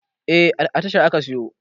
Eh, a tashar aka siyo